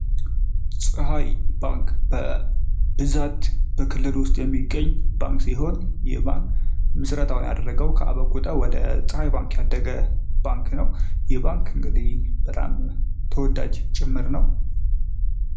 ፀሀይ ባንክ በብዛት በክልል ውስጥ የሚገኝ ሲሆን ይህ ባንክ ምስረታውን ያደረገው ከበአቁተ ወደ ፀሀይ ባንክ ያደገ ባንክ ነው። ይህ ባንክ እንግዲህ ተወዳጅ ጭምር ነው።